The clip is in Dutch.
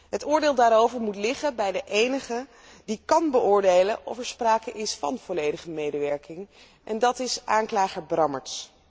Het oordeel daarover moet liggen bij de enige die kan beoordelen of er sprake is van volledige medewerking en dat is aanklager Brammertz.